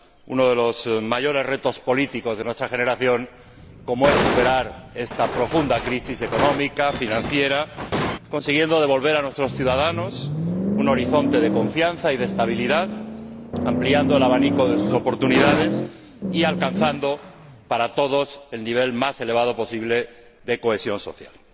uno de los mayores retos políticos de nuestra generación, como es superar esta profunda crisis económica, financiera, consiguiendo devolver a nuestros ciudadanos un horizonte de confianza y de estabilidad, ampliando el abanico de sus oportunidades y alcanzando para todos el nivel más elevado posible de cohesión social.